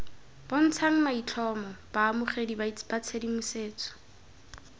bontshang maitlhomo baamogedi ba tshedimosetso